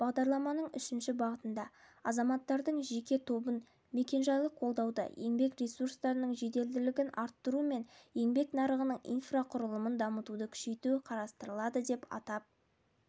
бағдарламаның үшінші бағытында азаматтардың жеке тобын мекенжайлық қолдауды еңбек ресурстарының жеделдігін арттыру мен еңбек нарығының инфрақұрылымын дамытуды күшейту қарастырылады деп атап